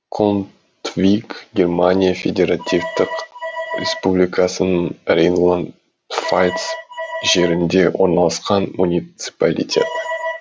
контвиг германия федеративтік республикасының рейнланд пфальц жерінде орналасқан муниципалитет